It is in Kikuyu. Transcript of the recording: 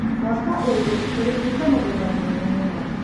Mwaka ũyũ tũrĩmĩtĩ mũgũnda mũnene mũno.